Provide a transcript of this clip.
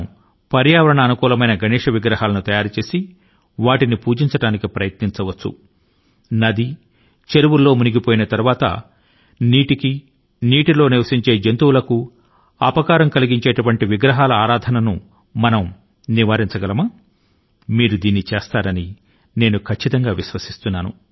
పర్యావరణ అనుకూల గణపతి విగ్రహాలను తయారుచేసి వాటిని మాత్రమే పూజించడానికి ఈసారి మనం ప్రయత్నించగలమా నదుల లో చెరువుల లో నిమజ్జనం అనంతరం నీటి కి జలచరాల కు ప్రమాదకరం గా మారే విగ్రహాల ఆరాధన ను మనం వదులుకుందామా నా పిలుపునకు మీరు స్పందిస్తారని నేను గట్టిగా నమ్ముతున్నాను